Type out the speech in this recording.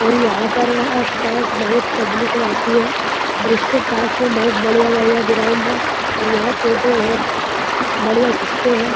और यहाँ पर आस-पास बहुत पब्लिक रहती है और इसके पास में बहुत बढ़िया-बढ़िया गिराउंड हैं और यहाँ फोटो बहुत बढ़िया खिंचते हैं।